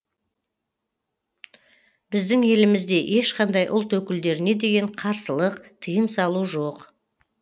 біздің елімізде ешқандай ұлт өкілдеріне деген қарсылық тиым салу жоқ